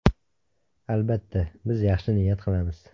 Albatta, biz yaxshi niyat qilamiz.